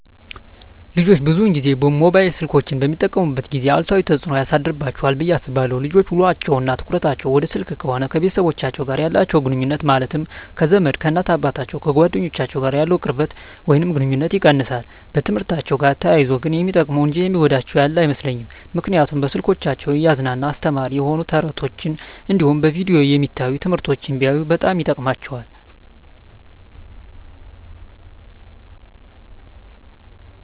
ልጆች ብዙን ጊዜ ሞባይል ስልኮችን በሚጠቀሙበት ጊዜ አሉታዊ ተፅዕኖ ያሳድርባቸዋል ብየ አስባለው ልጆች ውሎቸው እና ትኩረታቸውን ወደ ስልክ ከሆነ ከቤተሰቦቻቸው ጋር ያላቸውን ግኑኙነት ማለትም ከዘመድ፣ ከእናት አባቶቻቸው፣ ከጓደኞቻቸው ጋር ያለውን ቅርበት ወይም ግኑኝነት ይቀንሳል። በትምህርትአቸው ጋር ተያይዞ ግን ሚጠቀሙ እንጂ የሚጎዳቸው ያለ አይመስለኝም ምክንያቱም በስልኮቻቸው እያዝናና አስተማሪ የሆኑ ተረት ተረቶች እንዲሁም በቪዲዮ የሚታዩ ትምህርቶችን ቢያዩ በጣም ይጠቅማቸዋል።